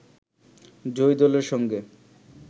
জয়ী দলের সঙ্গে